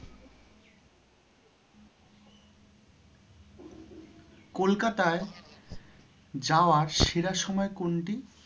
কলকাতায়, যাওয়ার সেরা সময় কোনটি?